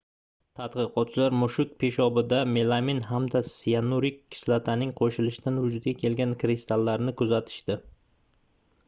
tadqiqotchilar mushuk peshobida melamin hamda siyanurik kislotaning qoʻshilishidan vujudga kelgan kristallarni kuzatishdi